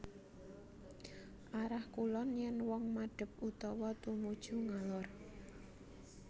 Arah Kulon yèn wong madhep utawa tumuju ngalor